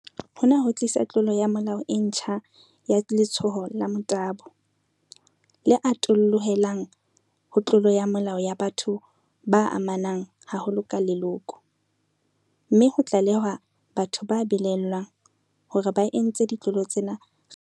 Hona ho tlisa tlolo ya molao e ntjha ya letshoho la motabo, le atollohelang ho tlolo ya molao ya batho ba amanang haholo ka leloko, mme ho tlale-hwa lokela ho tlalehwa batho ba belaellwang hore ba entse ditlolo tsena kgahlanong le bana.